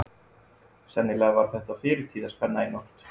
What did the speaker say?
Sennilega var þetta fyrirtíðaspenna í nótt.